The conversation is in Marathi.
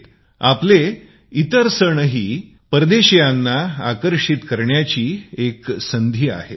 तसेच आपले इतरही सण विदेशीयांना आकर्षित करण्याची एक संधी आहेत